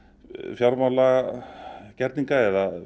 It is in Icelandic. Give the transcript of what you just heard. fjármálagerninga eða